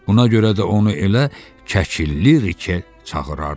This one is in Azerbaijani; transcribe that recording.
Buna görə də onu elə Kəkilli Rike çağırardılar.